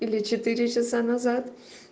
или четыре часа назад